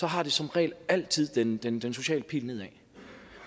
har det som regel altid den den sociale pil nedad